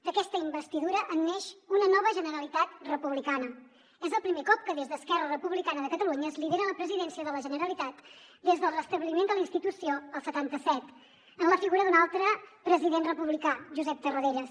d’aquesta investidura en neix una nova generalitat republicana és el primer cop que des d’esquerra republicana de catalunya es lidera la presidència de la generalitat des del restabliment de la institució el setanta set en la figura d’un altre president republicà josep tarradellas